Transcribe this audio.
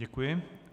Děkuji.